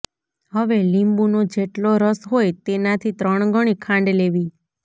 હવે લીંબુનો જેટલો રસ હોય તેનાથી ત્રણગણી ખાંડ લેવી